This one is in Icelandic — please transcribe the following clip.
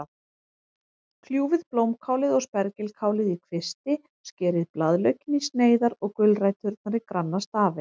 Kljúfið blómkálið og spergilkálið í kvisti, skerið blaðlaukinn í sneiðar og gulræturnar í granna stafi.